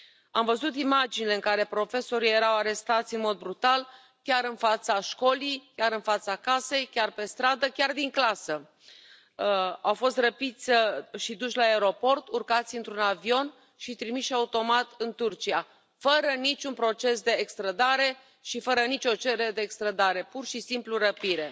Am văzut imaginile în care profesorii erau arestați în mod brutal, chiar în fața școlii, chiar în fața casei, chiar pe stradă, chiar din clasă. Au fost răpiți și duși la aeroport, urcați într un avion și trimiși, automat, în Turcia, fără nici un proces de extrădare și fără nici o cerere de extrădare, pur și simplu, răpire.